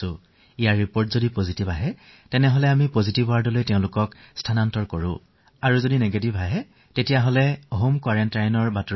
যিসকলৰ ফলাফল ধনাত্মক পাইছো তেওঁলোকক আমি পজিটিভ ৱাৰ্ডলৈ স্থানান্তৰিত কৰিছো আৰু ঋণাত্মক অহাবোৰক হোম কোৱাৰেণ্টাইনলৈ প্ৰেৰণ কৰিছো